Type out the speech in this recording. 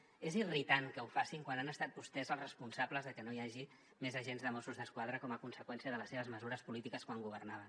és irritant que ho facin quan han estat vostès els responsables de que no hi hagi més agents de mossos d’esquadra com a conseqüència de les seves mesures polítiques quan governaven